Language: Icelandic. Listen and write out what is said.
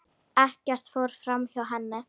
Ekkert fór framhjá henni.